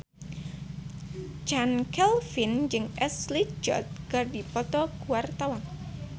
Chand Kelvin jeung Ashley Judd keur dipoto ku wartawan